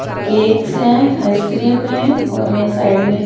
और केक्स हैं आइसक्रीम हैं और यहां साइड में--